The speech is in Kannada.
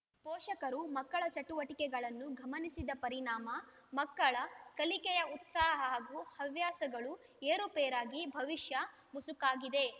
ಪೋಷಕರು ಮಕ್ಕಳ ಚಟುವಟಿಕೆಗಳನ್ನು ಗಮನಿಸದ ಪರಿಣಾಮ ಮಕ್ಕಳ ಕಲಿಕೆಯ ಉತ್ಸಾಹ ಹಾಗೂ ಹವ್ಯಾಸಗಳು ಏರುಪೇರಾಗಿ ಭವಿಷ್ಯ ಮಸುಕಾಗಿದೆ